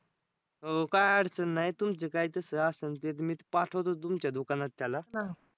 हो, काय अडचण नाही. तुमची काय तस असल ते मीच पाठवतो तुमच्या दुकानात त्याला.